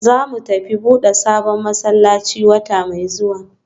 Zamu tafi buda sabon masallaci wata mai zuwa